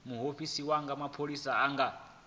muofisi wa mapholisa a nga